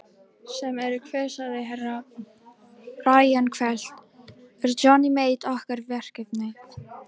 Sem eru hver sagði Herra Brian hvellt, er Johnny Mate okkar verkefni?